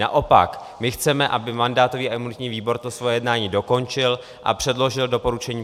Naopak, my chceme, aby mandátový a imunitní výbor to svoje jednání dokončil a předložil doporučení